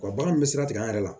Wa baganw bɛ sira tigɛ an yɛrɛ la